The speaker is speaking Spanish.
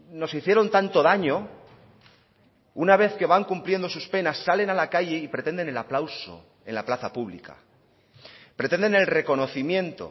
nos hicieron tanto daño una vez que van cumpliendo sus penas salen a la calle y pretenden el aplauso en la plaza pública pretenden el reconocimiento